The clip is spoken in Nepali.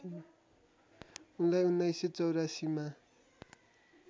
उनलार्इ १९८४ मा